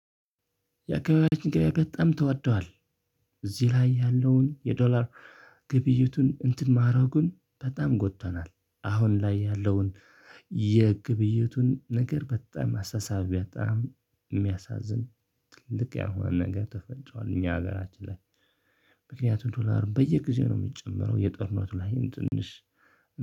የአካባቢያችን ኪራይ በጣም ተወዷል። እዚህ ላይ ያለውን የዶላር ግብይቱን እንትን ማረጉን በጣም ጎድቶናል። አሁን ላይ ያለውን የግብይቱን ነገር በጣም አሳሰቢያ ጣም የሚያሳዝን ትልቅ ያልሆነ ነገር ተፈጥሯል እኛ ሀገራችን ላይ፤ ምክንያቱም ዶላሩ በየጊዜው ነው የሚጨመረው። የጦርነቱ ላይም ትንሽ